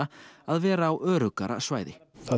að vera á öruggara svæði